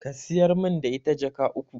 Ka siyar min da ita Jaka uku